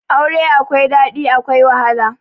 Aure akwai daɗi akwai wahala